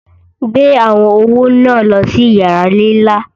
Gbè àwọn ọwọ̀ ná lọ sí yàrà nílá!